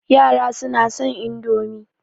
Yara suna son Indomi